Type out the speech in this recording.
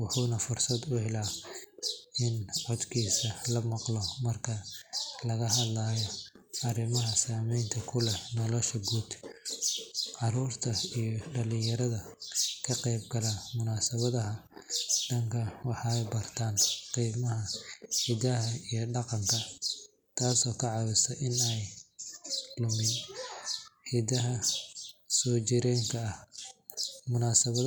wuxuuna fursad u helaa in codkiisa la maqlo marka laga hadlayo arrimaha saamaynta ku leh nolosha guud. Carruurta iyo dhalinyarada ka qeyb gala munaasabadaha dhaqanka waxay bartaan qiimaha hidaha iyo dhaqanka, taasoo ka caawisa in aan la lumin hiddaha soojireenka ah. Munaasabadho.